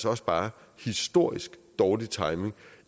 også bare historisk dårlig timing